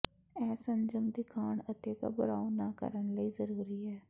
ਇਹ ਸੰਜਮ ਦਿਖਾਉਣ ਅਤੇ ਘਬਰਾਓ ਨਾ ਕਰਨ ਲਈ ਜ਼ਰੂਰੀ ਹੈ